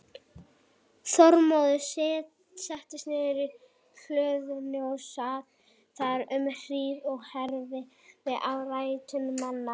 Þormóður settist niður í hlöðunni og sat þar um hríð og heyrði á ræður manna.